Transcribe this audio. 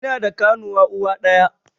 Ina da ƙanuwa uwa ɗaya